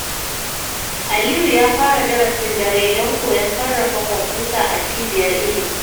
Aliyu ya fara darasin dare don koyon sarrafa kwamfuta a cibiyar ilimi.